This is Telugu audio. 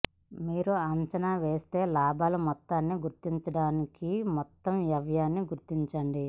మీరు అంచనా వేసే లాభాల మొత్తాన్ని గుర్తించడానికి మొత్తం వ్యయాన్ని గుర్తించండి